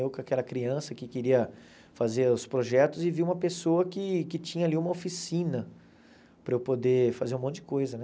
Eu com aquela criança que queria fazer os projetos e vi uma pessoa que que tinha ali uma oficina para eu poder fazer um monte de coisa, né?